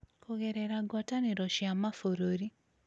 Kũgerera ngwatanĩro cia mabũrũri,